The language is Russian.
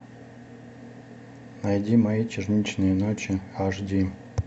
найди мои черничные ночи аш ди